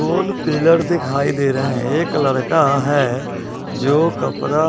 गोल pillar दिखाई दे रहे हैं एक लड़का है जो कपड़ा--